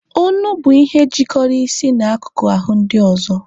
Onu bụ ihe jikọrọ isi na akụkụ ahụ ndị ọzọ.